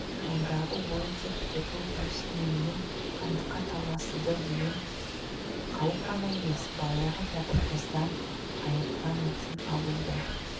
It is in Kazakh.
ондағы ойы тек түбі осы менімен хандыққа таласадыдеген қауіп қана емес баяғы кәпір қыздан айыртқан өшін алуы да